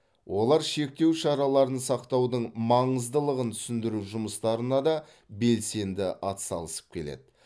олар шектеу шараларын сақтаудың маңыздылығын түсіндіру жұмыстарына да белсенді атсалысып келеді